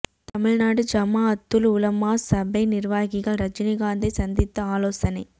தமிழ்நாடு ஜமாஅத்துல் உலமா சபை நிர்வாகிகள் ரஜினிகாந்தை சந்தித்து ஆலோசனை